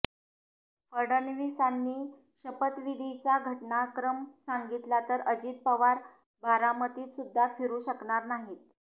फडणवीसांनी शपथविधीचा घटनाक्रम सांगितला तर अजित पवार बारामतीतसुद्धा फिरू शकणार नाहीत